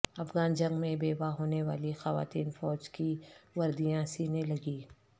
افغان جنگ میں بیوہ ہونے والی خواتین فوج کی وردیاں سینے لگیں